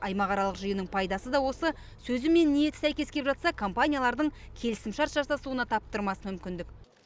аймақаралық жиынның пайдасы да осы сөзі мен ниеті сәйкес кеп жатса компаниялардың келісімшарт жасасуына таптырмас мүмкіндік